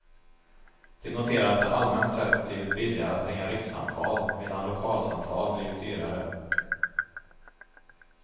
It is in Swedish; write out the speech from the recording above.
De noterar att det allmänt sett blivit billigare att ringa rikssamtal, medan lokalsamtal blivit dyrare.